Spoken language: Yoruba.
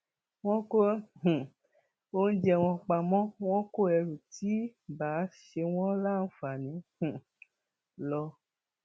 wọn kó um oúnjẹ wọn pamọ wọn kó ẹrù tí ì bá ṣe wọn láǹfààní um lọ